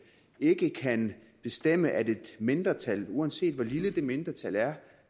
ikke kan bestemme at et mindretal uanset hvor lille det mindretal er